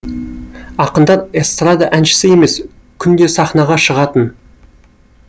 ақындар эстрада әншісі емес күнде сахнаға шығатын